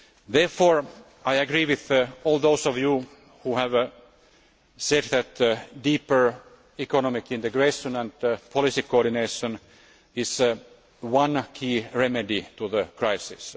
Therefore, I agree with all those of you who have said that deeper economic integration and policy coordination is one key remedy to the crisis.